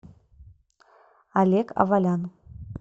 олег авалян